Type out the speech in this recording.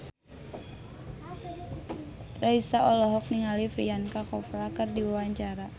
Raisa olohok ningali Priyanka Chopra keur diwawancara